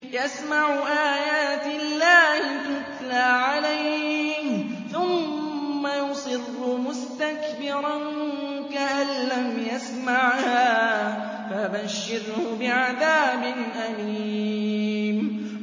يَسْمَعُ آيَاتِ اللَّهِ تُتْلَىٰ عَلَيْهِ ثُمَّ يُصِرُّ مُسْتَكْبِرًا كَأَن لَّمْ يَسْمَعْهَا ۖ فَبَشِّرْهُ بِعَذَابٍ أَلِيمٍ